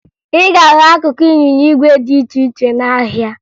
ị ga-ahụ akụkụ ịnyịnya igwe dị iche ihe n'ahịa